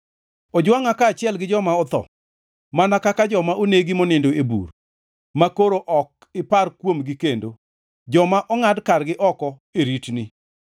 Ojwangʼa kaachiel gi joma otho, mana kaka joma onegi monindo e bur, makoro ok ipar kuomgi kendo, joma ongʼad kargi oko e ritni.